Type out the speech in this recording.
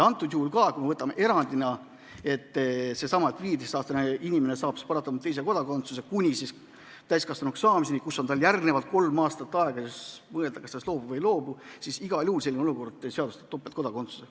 Ja kui me võtame ka erandi, et seesama 15-aastane inimene saab paratamatult teise kodakondsuse kuni täiskasvanuks saamiseni, pärast mida on tal järgnevad kolm aastat aega mõelda, kas ta sellest loobub või ei loobu – ka selline olukord igal juhul seadustab topeltkodakondsuse.